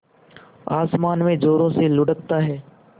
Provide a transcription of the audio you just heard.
आसमान में ज़ोरों से लुढ़कता है